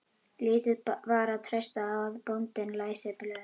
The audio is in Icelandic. Lítið var að treysta á að bóndinn læsi blöð.